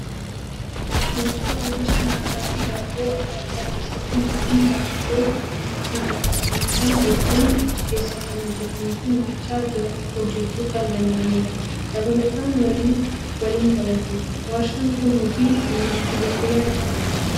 Warshaa oomisha nyaataa fi daabboo adda addaa keessatti namoonni daabboo sana saamsan hedduun achi keessa kan hojjatanii fi nyaachaa hojjachuu kan danda'anidha. Dabalataan waliin taphatu. Warshaan Kun hojii humnaati jettee yaaddaa?